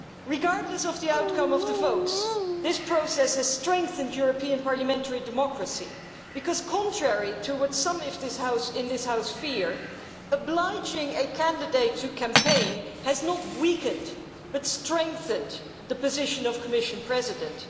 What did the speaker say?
Regardless of the outcome of the votes, this process has strengthened European parliamentary democracy because, contrary to what some in this House fear, obliging a candidate to campaign has not weakened but strengthened the position of Commission President.